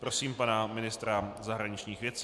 Prosím pana ministra zahraničních věcí.